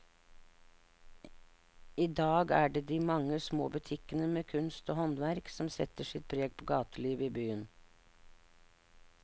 I dag er det de mange små butikkene med kunst og håndverk som setter sitt preg på gatelivet i byen.